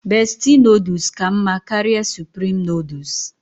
Bestie nodles ka mma karịa supreme nodles